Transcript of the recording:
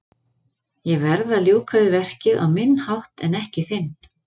Ég verð að ljúka við verkið á minn hátt en ekki þinn.